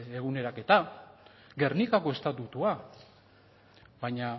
eguneraketa gernikako estatutua baina